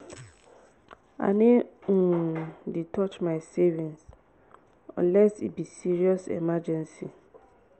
i no um dey touch my savings unless e be serious emergency.